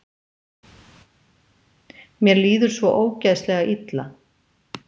Mér líður svo ógeðslega illa.